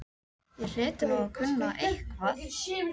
Ég hlyti nú að kunna eitthvað.